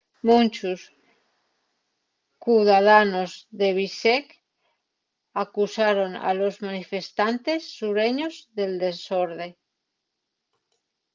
munchos cudadanos de bishkek acusaron a los manifestantes sureños del desorde